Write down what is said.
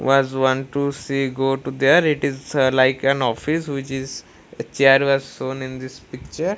was want to see go to there it is like an office which is chair was shown in this picture.